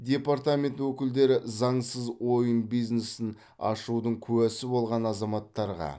департамент өкілдері заңсыз ойын бизнесін ашудың куәсі болған азаматтарға